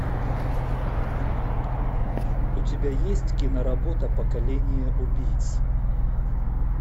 у тебя есть киноработа поколение убийц